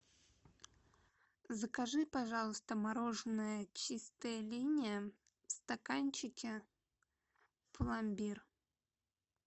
закажи пожалуйста мороженое чистая линия в стаканчике пломбир